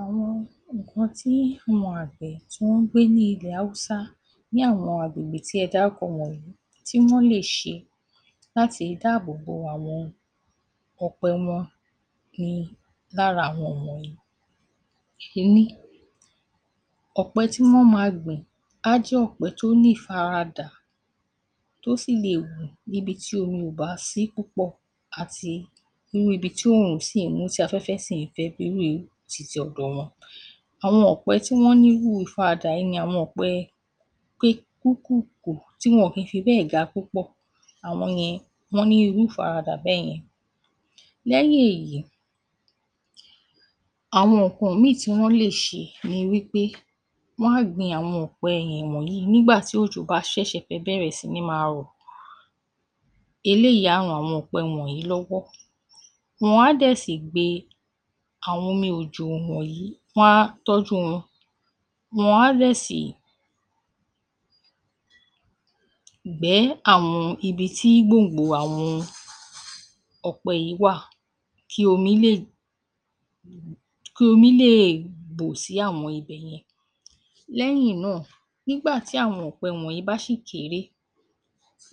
Àwọn nǹkan tí àwọn tí wọ́n ń gbé ní ilẹ̀ Haúsá ní àwọn agbègbè tí ẹ dárúkọ wọ̀nyí tí wọ́n lè ṣe láti dáàbò bo àwọn ọ̀pẹ wọn ni lára àwọn wọ̀nyí; Ení: Ọ̀pẹ tí wọ́n máa gbìn á jẹ́ ọ̀pẹ tí ó ní ìfaradà tí ó sì le hù ní ibi tí omi ò bá sí púpọ̀ àti irú ibi tí oòrùn sì í mú tí afẹ́fẹ́ sì ń fẹ̀ bí irú titi ọ̀dọ̀ wọn. Àwọn ọ̀pẹ tí wọ́n ní irú ìfaradà yìí ni àwọn ọ̀pẹ kúúkùùkùú tí wọn ò kí n fi bẹ́ẹ̀ ga púpọ̀, àwọn yẹn ni wọ́n ní irú ìfaradà bẹ́yẹn. Lẹ́yìn èyí, àwọn nǹkan mínìn tí wọ́n lè ṣe ni wí pé wọ́n á gbin àwọn ọ̀pẹ yẹn wọ̀nyí nígbà tí òjò bá ṣẹ̀ṣẹ̀ fẹ́ bẹ̀rẹ̀ sí ní máa rọ̀ eléyìí á ran àwọn ọ̀pẹ wọ̀nyí lọ́wọ́, wọ́n á dẹ̀ sì gbe àwọn omi òjò wọ̀nyí wọ́n á tọ́jú wọn, wọ́n á dẹ̀ sì gbẹ́ àwọn ibi tí gbòǹgbò àwọn ọ̀pẹ yìí wà kí omi lè bù sí àwọn ibẹ̀ yẹn. Lẹ́yìn náà, nígbà tí àwọn ọ̀pẹ wọ̀nyí bá sì kéré,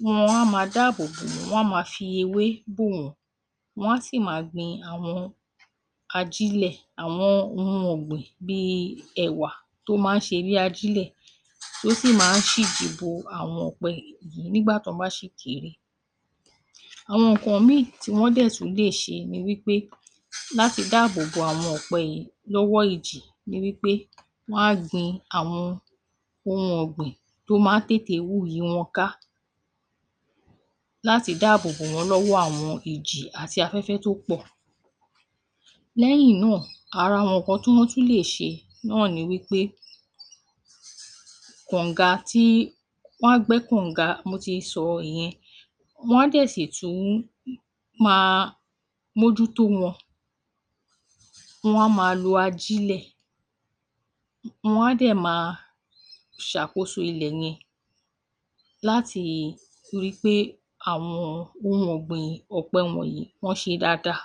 wọn a máa dáàbò bò wọ́n, wọn a máa fi ewé bò wọ́n, wọn á sì máa gbin àwọn ajílẹ̀ àwọn ohun ọ̀gbìn bíi ẹ̀wà tó máa ń ṣe bí ajílẹ̀ tí ó sì máa ń ṣíji bo àwọn ọ̀pẹ yìí nígbà tí wọ́n bá sì kéré. Àwọn nǹkan mínìn tí wọ́n dẹ̀ tún lè ṣe ni wí pé láti dáàbò bo àwọn ọ̀pẹ yìí lọ́wọ́ ìjì ni wí pé wọ́n á gbin àwọn ohun ọ̀gbìn tó máa ń tètè hù yí wọn ká láti dáàbò bó wọ́n lọ́wọ́ àwọn ìjì àti afẹ́fẹ́ tó pọ̀. Lẹ́yìn náà, ara àwọn nǹkan tí wọ́n tún lè ṣe náà ni wí pé kànǹga tí, wọ́n á gbẹ́ kànǹga mo ti sọ ìyẹn. Wọ́n á dẹ̀ sì tún máa mójútó wọn, wọ́n á máa lo ajílẹ̀, wọn á dẹ̀ máa ṣàkóso ilẹ̀ yẹn láti rí i pé àwọn ohun ọ̀gbìn ọ̀pẹ wọ̀nyí wọ́n ṣe dáadáa.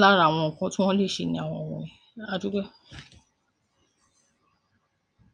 Lára àwọn nǹkan tí wọ́n lè ṣe nì àwọn wọ̀nyẹn. A dúpẹ́.